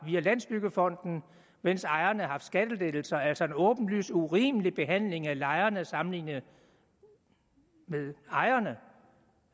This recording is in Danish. landsbyggefonden mens ejerne har haft skattelettelser altså en åbenlys urimelig behandling af lejerne sammenlignet med ejerne